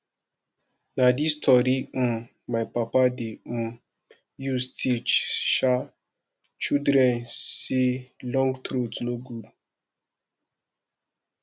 na dis tori um my papa dey um use teach um children sey long throat no good